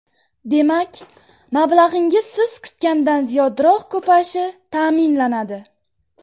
Demak, mablag‘ingiz siz kutgandan ziyodroq ko‘payishi ta’minlanadi.